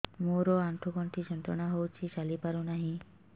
ମୋରୋ ଆଣ୍ଠୁଗଣ୍ଠି ଯନ୍ତ୍ରଣା ହଉଚି ଚାଲିପାରୁନାହିଁ